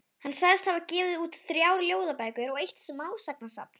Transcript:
Hann sagðist hafa gefið út þrjár ljóðabækur og eitt smásagnasafn.